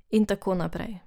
In tako naprej.